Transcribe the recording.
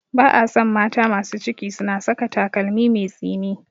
Ba a so mata masu ciki suna saka takalmi mai tsini.